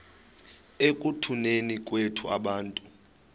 ekutuneni kwethu abantu